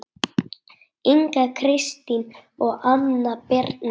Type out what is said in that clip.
Inga Kristín og Anna Birna